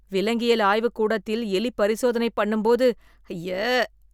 விலங்கியல் ஆய்வு கூடத்தில் எலி பரிசோதனை பண்ணும்போது ஐய!